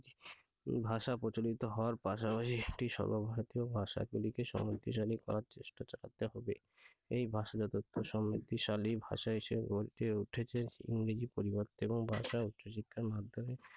ভাষা প্রচলিত হওয়ার পাশাপাশি একটি সর্বভারতীয় ভাষাকে শক্তিশালী করার চেষ্টা চালাতে হবে এই ভাষাগত সমৃদ্ধিশালী ভাষা হিসেবে গড়ে উঠেছে ইংরেজির পরিবর্তে এবং ভাষা উচ্চ শিক্ষার মাধ্যমে